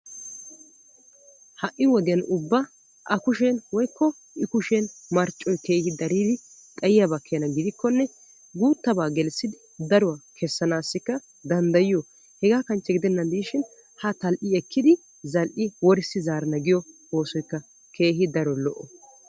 ha'i wodiyan ubba a kushen woyikko i kushen marccoy keehi daridi xayiyaba keena gidikkonne guuttaba gelissidi daruwa kessanaassikka danddayiyo. hegaa kanchche gidennaashshin haa tal'i ekkidi zal'i worissi zaarana giyo oosoyikka keehi daro lo'o.